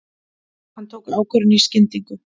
Hann tók ákvörðun í skyndingu.